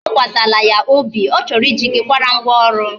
Atụkwasịla ya obi, ọ chọrọ I ji gi kwara ngwa ọrụ